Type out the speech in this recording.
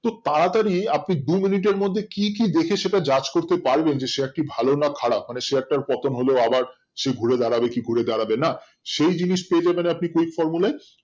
তো তাড়াতাড়ি আপনি দুই মিনিটের মধ্যে কি কি দেখে সেটা judge করতে পারবেন যে share টি ভালো না খারাপ মানে share টার পতন হলো আবার সেই ঘুরে দাঁড়াবে কি ঘুরে দাঁড়াবে না সেই জিনিস পেলে মানে আপনি quick formula ই